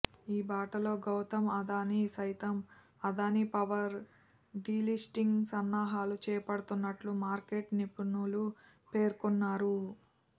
ఈ బాటలో గౌతమ్ అదానీ సైతం అదానీ పవర్ డీలిస్టింగ్ సన్నాహాలు చేపడుతున్నట్లు మార్కెట్ నిపుణులు పేర్కొన్నారు